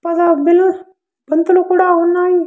పద బెలూన్స్ పంతులు కూడా ఉన్నాయి.